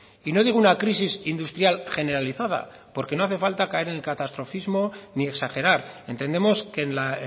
y no digo una crisis industrial generalizada porque no hace falta caer en el catastrofismo ni exagerar entendemos que en la